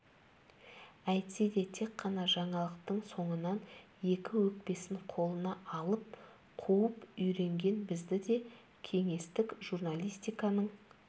әйтсе де тек қана жаңалықтың соңынан екі өкпесін қолына алып қуып үйренген бізді де кеңестік журналистиканың